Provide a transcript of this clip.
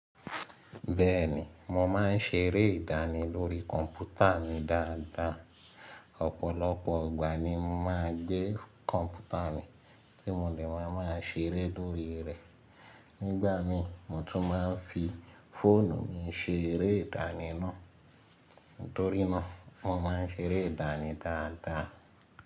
Bẹ́ẹ̀ni, mo máa ń ṣeré ìdánì lórí kọ̀mpútà mi dáadáa. Ọ̀pọ̀lọpọ̀ igbà ni mo máa ń gbé kọ̀ǹpútà mi tí mo ní màá máa ṣeré lórí rẹ̀. Nígbà mi, mo tún máa ń fi fóònù mi ṣeré ìdánì náà. Nítorí náà, mo máa ń ṣeré ìdánì dáadáa.